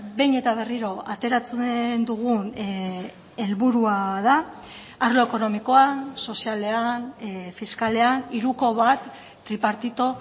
behin eta berriro ateratzen dugun helburua da arlo ekonomikoa sozialean fiskalean hiruko bat tripartito